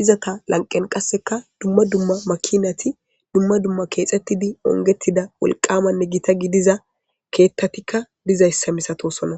izaka lanqen qasseka dumma dumma makinati dumma dumma keexettidi ongettida wolqamanne gita gidiza keettatikka dizayssa misatosonna